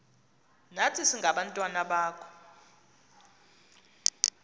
nathi singabantwana bakho